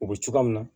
U bɛ cogoya min na